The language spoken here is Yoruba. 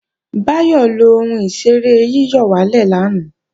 Báyọ̀ lo ohun ìṣeré yíyọ̀wálè lánàá